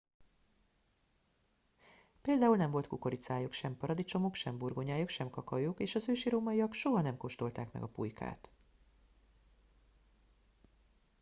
például nem volt kukoricájuk sem paradicsomuk sem burgonyájuk sem kakaójuk és az ősi rómaiak soha nem kóstolták meg a pulykát